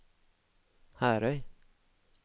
Herøy